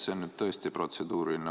See on nüüd tõesti protseduuriline.